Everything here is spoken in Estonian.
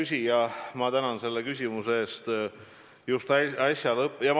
Hea küsija, ma tänan selle küsimuse eest!